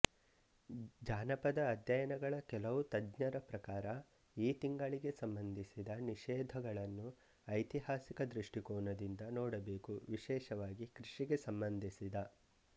ಜಾನಪದ ಅಧ್ಯಯನಗಳ ಕೆಲವು ತಜ್ಞರ ಪ್ರಕಾರ ಈ ತಿಂಗಳಿಗೆ ಸಂಬಂಧಿಸಿದ ನಿಷೇಧಗಳನ್ನು ಐತಿಹಾಸಿಕ ದೃಷ್ಟಿಕೋನದಿಂದ ನೋಡಬೇಕು ವಿಶೇಷವಾಗಿ ಕೃಷಿಗೆ ಸಂಬಂಧಿಸಿದ